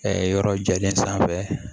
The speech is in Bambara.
yɔrɔ jalen sanfɛ